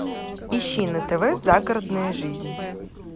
ищи на тв загородная жизнь